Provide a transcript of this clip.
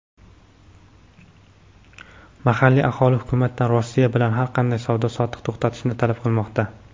Mahalliy aholi hukumatdan Rossiya bilan har qanday savdo-sotiqni to‘xtatishni talab qilmoqda.